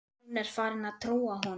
Hún er farin að trúa honum.